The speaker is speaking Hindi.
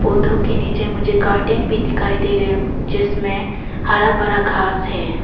के नीचे मुझे गार्डन भी दिखाई दे रहे हैं जिसमें हरा भरा घास है।